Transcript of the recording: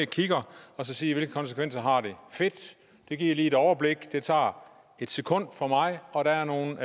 kigger og så siger jeg hvilke konsekvenser har det fedt det giver lige et overblik det tager et sekund for mig og der er nogle